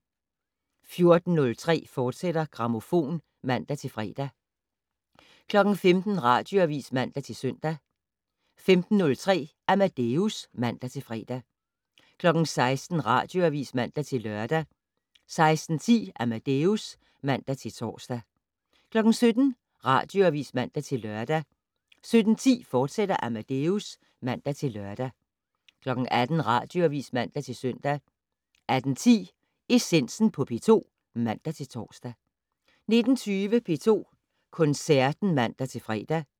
14:03: Grammofon, fortsat (man-fre) 15:00: Radioavis (man-søn) 15:03: Amadeus (man-fre) 16:00: Radioavis (man-lør) 16:10: Amadeus (man-tor) 17:00: Radioavis (man-lør) 17:10: Amadeus, fortsat (man-lør) 18:00: Radioavis (man-søn) 18:10: Essensen på P2 (man-tor) 19:20: P2 Koncerten (man-fre)